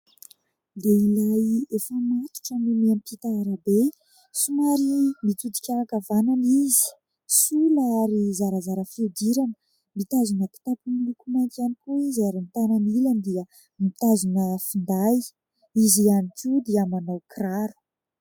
Lehilahy efa matotra no miampita arabe. Somary mitodika ankavanana izy, sola ary zarazara fihodirana. Mitazona kitapo miloko mainty ihany koa izy ary ny tanany ilany dia mitazona finday, izy ihany koa dia manao kiraro.